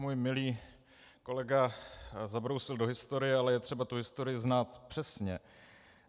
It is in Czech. Můj milý kolega zabrousil do historie, ale je třeba tu historii znát přesně.